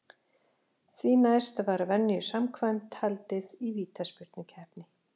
Því næst var venju samkvæmt haldið í vítaspyrnukeppni.